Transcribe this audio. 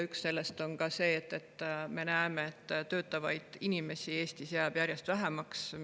Üks neist on see, et töötavaid inimesi jääb Eestis järjest vähemaks.